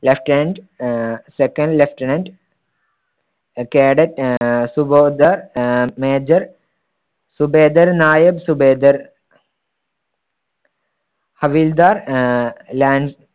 lieutenant ah second lieutenant ah cadet ah subedar ah major, subedar naik, subedar havildar ah lance